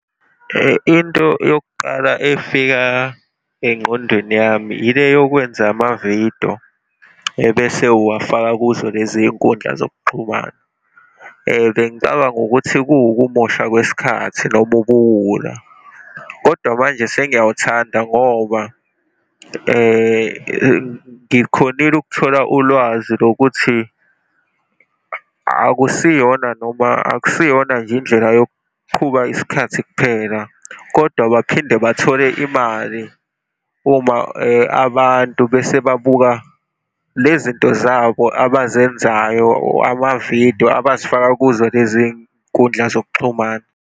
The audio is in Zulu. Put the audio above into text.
Into yokuqala efika engqondweni yami yile yokwenza amavidiyo, ebese uwafaka kuzo leziy'nkundla zokuxhumana. Bengicabanga ukuthi kuwokumosha kwesikhathi noma ubuwula. Kodwa manje sengiyawuthanda ngoba ngikhonile ukuthola ulwazi lokuthi, akusiyona, noma akusiyona nje indlela yokuqhuba isikhathi kuphela, kodwa baphinde bathole imali uma abantu bese babuka le zinto zabo abazenzayo, amavidiyo, abazifaka kuzo leziy'nkundla zokuxhumana.